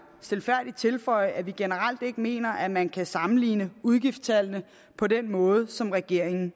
stilfærdigt tilføje at vi generelt ikke mener at man kan sammenligne udgifterne på den måde som regeringen